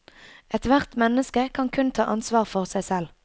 Ethvert menneske kan kun ta ansvar for seg selv.